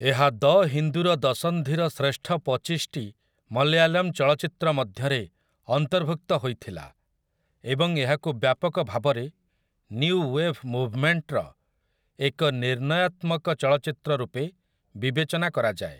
ଏହା 'ଦ ହିନ୍ଦୁ'ର ଦଶନ୍ଧିର ଶ୍ରେଷ୍ଠ ପଚିଶଟି ମଲୟାଲମ୍ ଚଳଚ୍ଚିତ୍ର ମଧ୍ୟରେ ଅନ୍ତର୍ଭୁକ୍ତ ହୋଇଥିଲା ଏବଂ ଏହାକୁ ବ୍ୟାପକ ଭାବରେ ନିୟୁ ୱେଭ୍ ମୁଭମେଣ୍ଟର ଏକ ନିର୍ଣ୍ଣୟାତ୍ମକ ଚଳଚ୍ଚିତ୍ର ରୂପେ ବିବେଚନା କରାଯାଏ ।